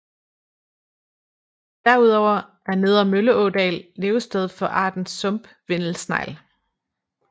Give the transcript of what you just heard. Derudover er nedre Mølleådal levested for arten sump vindelsnegl